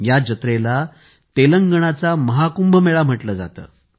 या जत्रेला तेलंगणाचा महाकुंभ मेळा म्हटले जाते